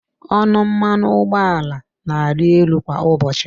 Ọnụ mmanụ ụgbọala na-arị elu kwa ụbọchị.